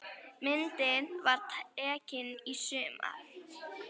Myndin var tekin í sumar.